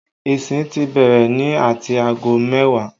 Ìsìn ti bẹ̀rẹ̀ ní ati aago mẹ́wàá